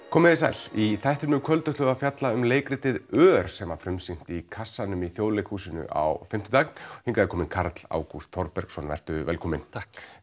komiði sæl í þættinum í kvöld ætlum við að fjalla um leikritið ör sem var frumsýnt í kassanum í Þjóðleikhúsinu á fimmtudag hingað er kominn Karl Ágúst Þorbergsson vertu velkominn takk